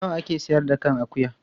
Nawa a ke sayar da kan akuyar?